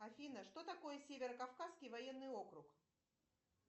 афина что такое северо кавказский военный округ